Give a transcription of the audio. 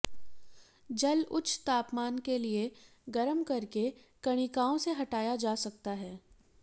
जल उच्च तापमान के लिए गर्म करके कणिकाओं से हटाया जा सकता